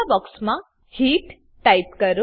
લીલા બોક્સમાં hit type કરો